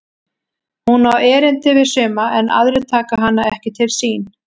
Hún á erindi við suma en aðrir taka hana ekki til sín.